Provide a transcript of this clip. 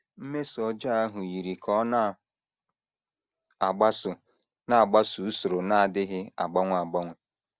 Mmeso ọjọọ ahụ yiri ka ọ na - agbaso na - agbaso usoro na - adịghị agbanwe agbanwe.